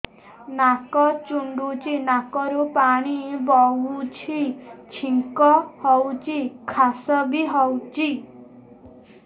ନାକ ଚୁଣ୍ଟୁଚି ନାକରୁ ପାଣି ବହୁଛି ଛିଙ୍କ ହଉଚି ଖାସ ବି ହଉଚି